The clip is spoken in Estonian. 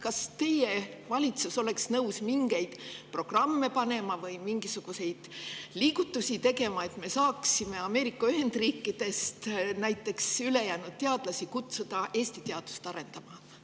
Kas teie valitsus oleks nõus mingeid programme või mingisuguseid liigutusi tegema, et me saaksime näiteks Ameerika Ühendriikidest üle jäänud teadlasi kutsuda Eesti teadust arendama?